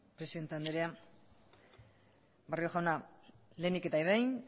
presidente andrea barrio jauna lehenik eta behin